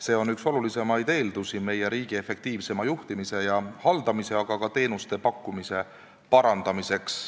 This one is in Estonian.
See on üks olulisemaid eeldusi meie riigi efektiivsemaks juhtimiseks ja haldamiseks, aga ka teenuste pakkumise parandamiseks.